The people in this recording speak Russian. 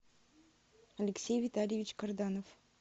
алексей витальевич карданов